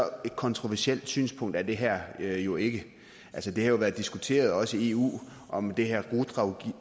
kontroversielt et synspunkt er det her jo ikke det har jo været diskuteret også i eu om det her